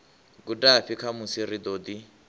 gudafhi khamusi ri ḓo ḓi